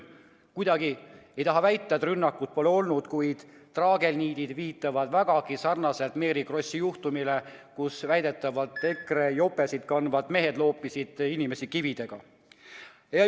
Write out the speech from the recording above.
Kuidagi ei taha väita, et rünnakut pole olnud, kuid traagelniidid viitavad vägagi sarnasele Mary Krossi juhtumile, mille korral väidetavalt EKRE jopesid kandvad mehed olid inimesi kividega loopinud.